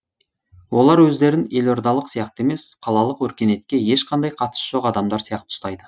олар өздерін елордалық сияқты емес қалалық өркениетке ешқандай қатысы жоқ адамдар сияқты ұстайды